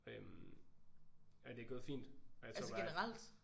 Øh og det er gået fint og jeg tror bare